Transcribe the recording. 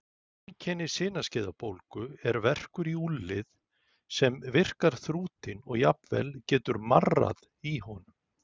Einkenni sinaskeiðabólgu er verkur í úlnlið sem virkar þrútinn og jafnvel getur marrað í honum.